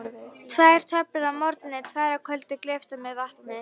Tvær töflur að morgni, tvær að kvöldi, gleyptar með vatni.